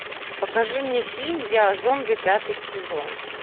покажи мне фильм я зомби пятый сезон